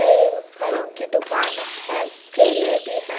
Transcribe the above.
यह फलों की दुकान है केले भी हैं।